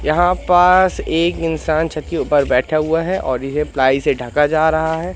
यहां पास एक इंसान छत के ऊपर बैठा हुआ है और इसे प्लाई से ढका जा रहा है।